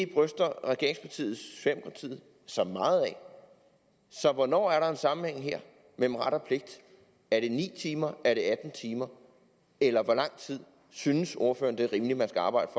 bryster sig meget af så hvornår er der en sammenhæng her mellem ret og pligt er det ni timer er det atten timer eller hvor lang tid synes ordføreren det er rimeligt man skal arbejde